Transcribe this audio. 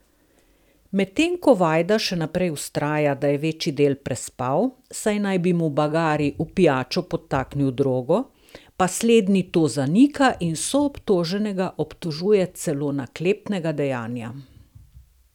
Medtem ko Vajda še naprej vztraja, da je večji del prespal, saj naj bi mu Bagari v pijačo podtaknil drogo, pa slednji to zanika in soobtoženega obtožuje celo naklepnega dejanja.